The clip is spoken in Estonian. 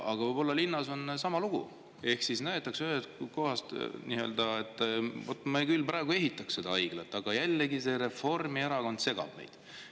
Võib-olla on linnas sama lugu:, et me küll praegu ehitaks seda haiglat, aga jälle see Reformierakond segab meid.